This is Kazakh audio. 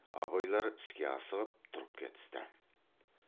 абайлар іске асығып тұрып кетісті